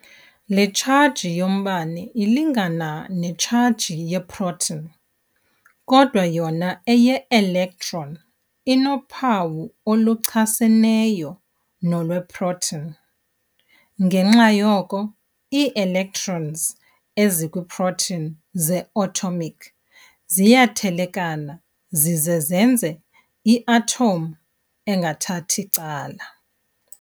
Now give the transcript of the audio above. Le tshaji yombane ilingana netshaji ye-proton, kodwa yona eye-electon inophawu oluchaseneyo nolweproton. ngenxa yoko, ii-electrons ezikwii-protons ze-atomic ziyathelekana zize zenze i-atom engathathi cala.